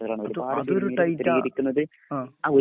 അത് ഒരു ടൈറ്റാ ആ